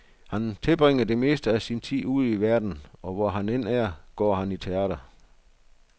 Han tilbringer det meste af sin tid ude i verden, og hvor han end er, går han i teater.